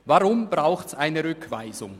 Weshalb braucht es eine Rückweisung?